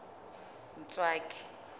ntswaki